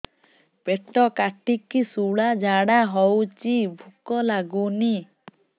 ପେଟ କାଟିକି ଶୂଳା ଝାଡ଼ା ହଉଚି ଭୁକ ଲାଗୁନି